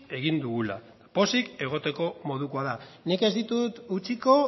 egin dugula eta pozik egoteko modukoa da nik ez ditut utziko